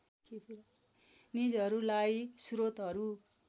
निजहरूलाई स्रोतहरू